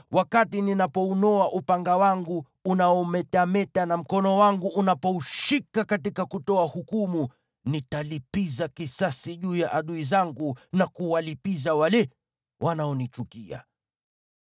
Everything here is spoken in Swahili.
wakati ninapounoa upanga wangu unaometameta na mkono wangu unapoushika ili kutoa hukumu, nitalipiza kisasi juu ya adui zangu na kuwalipiza wale wanaonichukia.